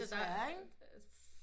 Desværre ikke